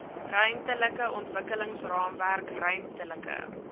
ruimtelike ontwikkelingsraamwerk ruimtelike